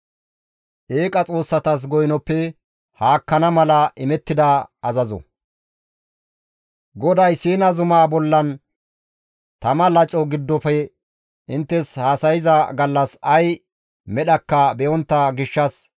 «GODAY Siina zumaa bollan tama laco giddofe inttes haasayza gallas ay medhakka be7ontta gishshas keehippe naagettite.